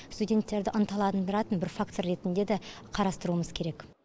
студенттерді ынталандыратын бір фактор ретінде дә қарастыруымыз керек